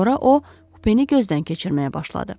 Sonra o, kupeni gözdən keçirməyə başladı.